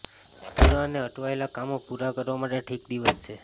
અધૂરા અને અટવાયેલા કામો પૂરા કરવા માટે ઠીક દિવસ છે